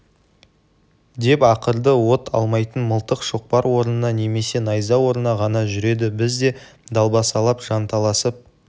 деп ақырды от алмайтын мылтық шоқпар орнына немесе найза орнына ғана жүреді біз де далбасалап жанталасып